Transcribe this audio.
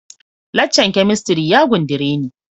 Lacca'n kemistri'n ya gundare me.